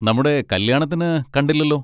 നമ്മുടെ കല്യാണത്തിന് കണ്ടില്ലല്ലോ.